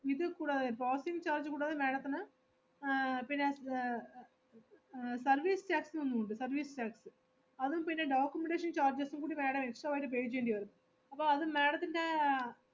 ഇത് കൂടാതെ processing charge കൂടാതെ madam ത്തിന് ആഹ് പിന്നെ സ്വേ~ ഏർ service tax എന്നുണ്ട് service tax അതും പിന്നെ documentation charges ഉം കൂടി madam extra ആയിട്ട് pay ചെയ്യേണ്ടിവരും. അപ്പൊ അത് madam ത്തിന്റെ ആഹ്